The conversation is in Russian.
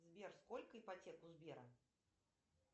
сбер сколько ипотека у сбера